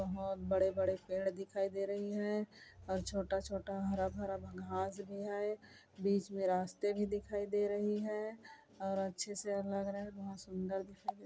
बहोत बड़े-बड़े पेड़ दिखाई दे रही हैं और छोटा-छोटा हरा भरा घास भी है बीच में रास्ते भी दिखाई दे रही हैं और अच्छे से लग रहा है बहुत सुन्दर दे रहे।